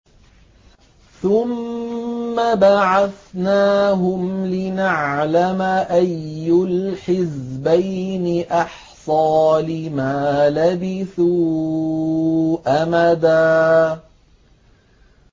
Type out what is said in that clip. ثُمَّ بَعَثْنَاهُمْ لِنَعْلَمَ أَيُّ الْحِزْبَيْنِ أَحْصَىٰ لِمَا لَبِثُوا أَمَدًا